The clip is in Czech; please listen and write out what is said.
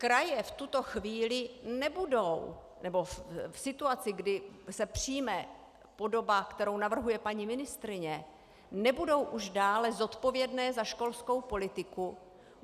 Kraje v tuto chvíli nebudou - nebo v situaci, kdy se přijme podoba, kterou navrhuje paní ministryně, nebudou už dále zodpovědné za školskou politiku.